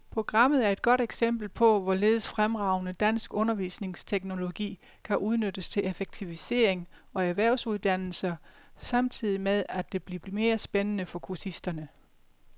Programmet er et godt eksempel på, hvorledes fremragende dansk undervisningsteknologi kan udnyttes til effektivisering af erhvervsuddannelser samtidig med, at det bliver mere spændende for kursisterne.